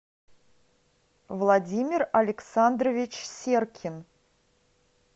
владимир александрович серкин